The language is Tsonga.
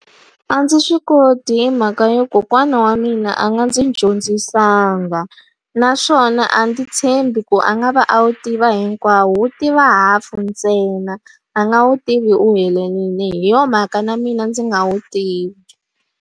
A ndzi swi koti hi mhaka yo kokwana wa mina a nga ndzi dyondzisanga. Naswona a ndzi tshembi ku a nga va a wu tiva hinkwawo, u tiva hafu ntsena a nga wu tivi u helelile. Hi yona mhaka na mina ndzi nga wu tivi.